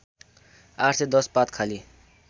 ८१० पात खाली